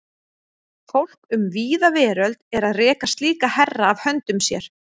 Fólk um víða veröld er að reka slíka herra af höndum sér.